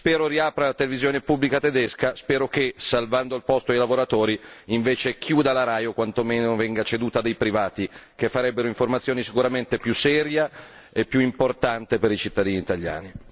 Spero riapra la televisione pubblica tedesca, spero che salvando il posto ai lavoratori invece chiuda la RAI o quantomeno venga ceduta a dei privati che farebbero informazione sicuramente più seria e più importante per i cittadini italiani.